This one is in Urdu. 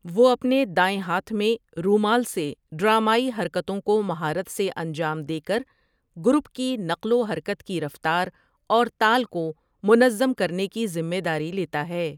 وہ اپنے دائیں ہاتھ میں رومال سے ڈرامائی حرکتوں کو مہارت سے انجام دے کر گروپ کی نقل و حرکت کی رفتار اور تال کو منظم کرنے کی ذمہ داری لیتا ہے ۔